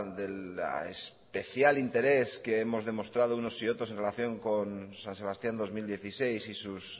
del especial interés que hemos demostrado unos y otros en relación con san sebastián dos mil dieciséis y sus